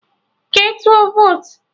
Ke tụọ votu!